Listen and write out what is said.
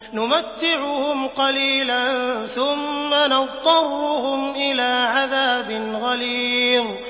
نُمَتِّعُهُمْ قَلِيلًا ثُمَّ نَضْطَرُّهُمْ إِلَىٰ عَذَابٍ غَلِيظٍ